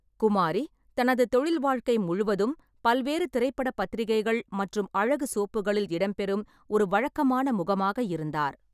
குமாரி தனது தொழில் வாழ்க்கை முழுவதும் பல்வேறு திரைப்பட பத்திரிகைகள் மற்றும் அழகு சோப்புகளில் இடம்பெறும் ஒரு வழக்கமான முகமாக இருந்தார்.